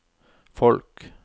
folk